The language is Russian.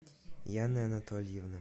яны анатольевны